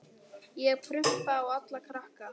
Ég prumpa á alla krakka.